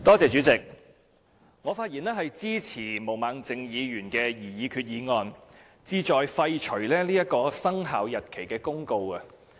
主席，我發言支持毛孟靜議員的議案，議案旨在廢除這項生效日期公告。